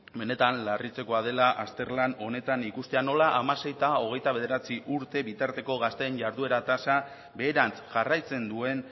benetan larritzekoa dela azterlan honetan ikustea nola hamasei eta hogeita bederatzi urte bitarteko gazteen jarduera tasa beherantz jarraitzen duen